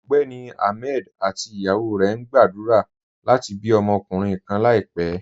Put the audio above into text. Ọgbẹ́ni Ahmed àti ìyàwó rẹ̀ ń gbàdúrà láti bí ọmọkunrìǹ kàn láìpẹ̀.